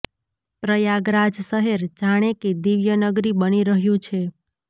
પ્રયાગરાજ શહેર જાણે કે દિવ્ય નગરી બની રહ્યું છે